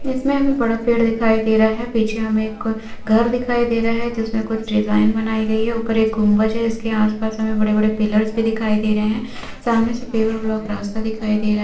इसमें हमें बड़ा पेड़ दिखाई दे रहा है पीछे हमें एक घर दिखाई दे रहा है जिसमें कुछ डिजाइन बनाई गई है उपर एक गुंबज है जिसके आसपास हमें बड़े बड़े पिल्लर्स भी दिखाई दे रहे है सामने से पेवर ब्लॉक रास्ता दिखाई दे रहा है।